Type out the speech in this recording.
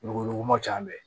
Wuguba ca an bɛ